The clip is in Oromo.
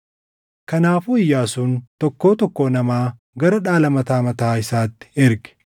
Kanaafuu Iyyaasuun tokkoo tokkoo namaa gara dhaala mataa mataa isaatti erge.